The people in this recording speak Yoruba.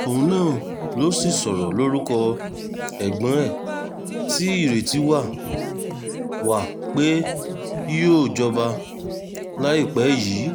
òun náà ló sì sọ̀rọ̀ lórúkọ ẹ̀gbọ́n ẹ̀ tí ìrètí wà wà pé yóò jọba láìpẹ́ yìí